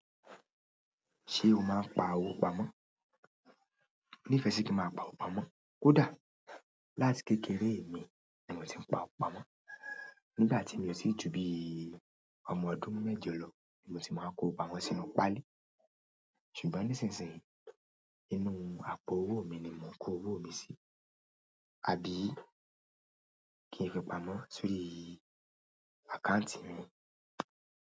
Ṣé o máa ń pa owó pamọ́? Ní ìfẹ́ sì kí n máa pa owó pamọ́. Kódà láti kékeré mi, ni mò tí ń pa owó pamọ́. Nígbà tí mi o ti ju bí ọmọ ọdún méjọ lọ ni mo ti máa ń kó owó pamọ́ sí inú páálí. Ṣùgbọ́n nísinsìnyí, inú àpò owó mi ni mò ń kó owó mi sí. Àbí kí n fi pamọ́ sórí àkáǹtì mi?